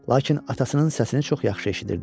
Lakin atasının səsini çox yaxşı eşidirdi.